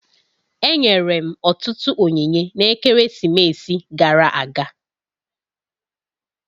Enyere m ọtụtụ onyinye na-ekeresimesi gara aga